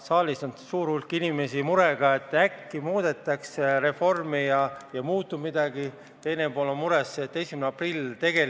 Saalis on suur hulk inimesi mures, et äkki muudetakse reformi ja muutub midagi, teine pool on mures, et 1. aprill on kohe käes.